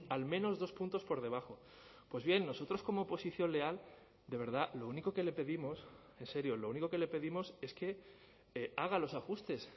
al menos dos puntos por debajo pues bien nosotros como oposición leal de verdad lo único que le pedimos en serio lo único que le pedimos es que haga los ajustes